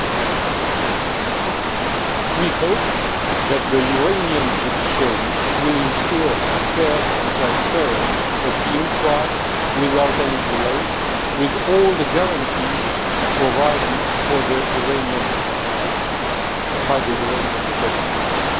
2009. We hope that the Iranian judiciary will ensure a fair and transparent appeal trial without any delay, with all the guarantees provided by the Iranian legislation.